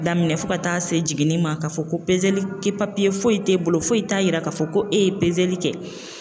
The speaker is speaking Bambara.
Daminɛ fo ka taa se jiginni ma ka fɔ ko foyi t'e bolo foyi t'a yira k'a fɔ ko e ye kɛ